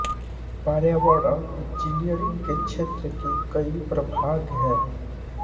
पर्यावरण इंजीनियरिंग के क्षेत्र के कई प्रभाग हैं